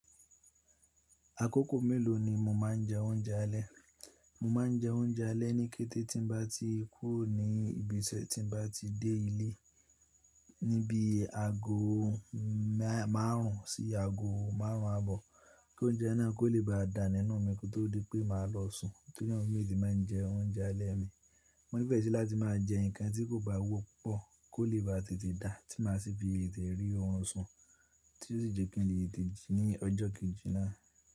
Àkókò mélòó ni mo máa ń jẹ oúnjẹ alẹ́? Mo máa ń jẹ oúnjẹ alẹ́ ní kété tí n bá ti kúrò ní ibi iṣẹ́ tí n bá ti dé ilé, níbi aago márùn-ún sí aago márùn-ún àbọ̀. Kí oúnjẹ yen náà kó lè bá dà nínú mi kí ó tó di pé màá lọ sùn. Torí náà mo fin tete máa ń jẹ oúnjẹ alẹ́ mi. Mo nífẹ́ sì láti máa jẹ nǹkan tí kò bá wọ́pọ̀ kó lè bá tètè dà tí màá sì fi tètè rí orun sùn tí ó sì jẹ́ kí n lè tẹ̀ ji ní ọjọ́ kejì náà.